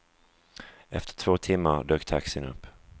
Efter två timmar dök taxin upp.